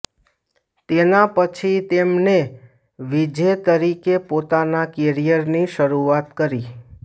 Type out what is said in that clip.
તેના પછી તેમને વીજે તરીકે પોતાના કેરિયર ની શરૂઆત કરી